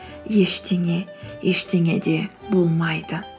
ештеңе ештеңе де болмайды